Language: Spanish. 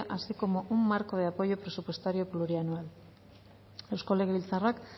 así como un marco de apoyo presupuestario plurianual eusko legebiltzarrak